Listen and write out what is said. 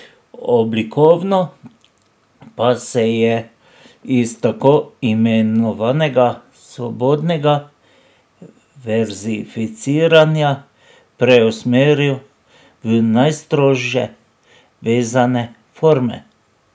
Oblikovno pa se je iz tako imenovanega svobodnega verzificiranja preusmeril v najstrože vezane forme.